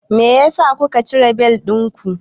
Meyasa kuka cire bel ɗinku?